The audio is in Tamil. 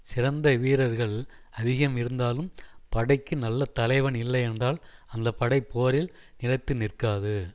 சிறந்த வீரர்கள் அதிகம் இருந்தாலும் படைக்கு நல்ல தலைவன் இல்லை என்றால் அந்த படை போரில் நிலைத்து நிற்காது